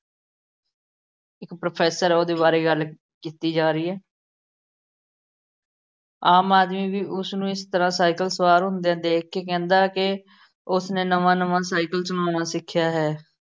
professor ਹੈ ਉਹਦੇ ਬਾਰੇ ਗੱਲ ਕੀਤੀ ਜਾ ਰਹੀ ਹੈ ਆਮ ਆਦਮੀ ਵੀ ਉਸਨੂੰ ਇਸ ਤਰ੍ਹਾਂ ਸਾਈਕਲ ਸਵਾਰ ਹੁੰਦਿਆਂ ਦੇਖ ਕੇ ਕਹਿੰਦਾ ਹੈ ਕਿ ਉਸਨੇ ਨਵਾਂ ਨਵਾਂ ਸਾਈਕਲ ਚਲਾਉਣਾ ਸਿੱਖਿਆ ਹੈ।